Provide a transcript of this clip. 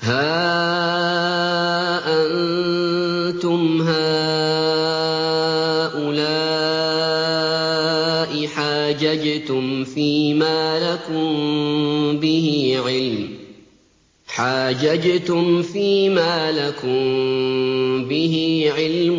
هَا أَنتُمْ هَٰؤُلَاءِ حَاجَجْتُمْ فِيمَا لَكُم بِهِ عِلْمٌ